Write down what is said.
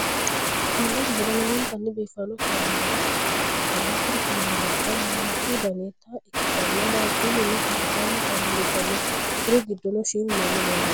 konne darga lowontanni biiffanno kaameelubba nooha ikkanna, kuri kaameelubba mimmitu danita ikkitanna, waajjullunna koliddaannu kaameelubba no, kuri giddono shiimu manni leellanno.